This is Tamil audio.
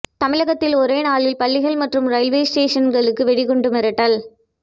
தமிழகத்தில் ஒரே நாளில் பள்ளிகள் மற்றும் ரயில்வே ஸ்டேஷன்களுக்கு வெடிகுண்டு மிரட்டல்